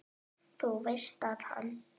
Þú veist að hann.